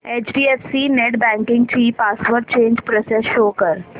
HDFC net banking ची password change process show कर